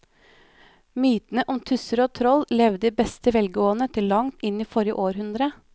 Mytene om tusser og troll levde i beste velgående til langt inn i forrige århundre.